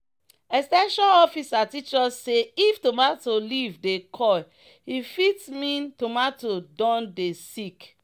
"ex ten sion officer teach us say if tomato leaf dey curl e fit mean tomato don dey sick."